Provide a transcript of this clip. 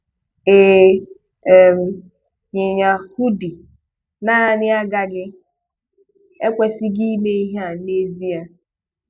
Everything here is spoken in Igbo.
Ị um yinye 'hoodie' naanị agaghị / ekwesịghị ime ihe a n'ezie.